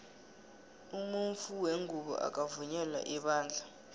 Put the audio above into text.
umunfu wengubo akakavunyela ebandla